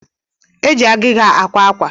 Eji agịga ákwá àkwà